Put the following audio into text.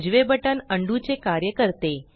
उजवे button undo undo चे कार्य करते